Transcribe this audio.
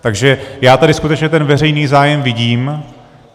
Takže já tady skutečně ten veřejný zájem vidím.